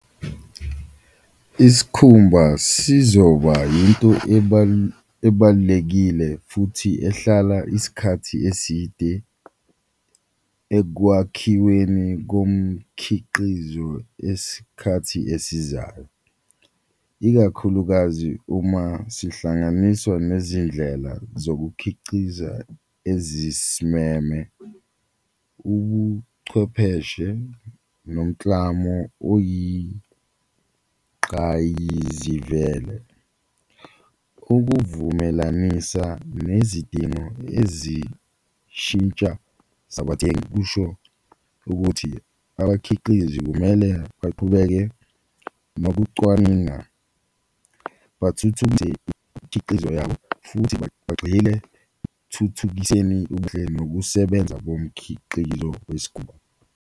Isikhumba sizoba into ebalulekile futhi ehlala isikhathi eside ekwakhiweni komkhiqizo yesikhathi esizayo, ikakhulukazi uma sihlanganiswa nezindlela zokukhiciza ezisimeme, ubuchwepheshe nomklamo oyiqayizivele, ukuzivumelanisa nezidingo ezishintsha zabathengi. Kusho ukuthi abakhiqizi kumele baqubeke nokucwaninga, imikhiqizo yabo futhi bagxilile ubuhle nokusebenza komkhiqizo .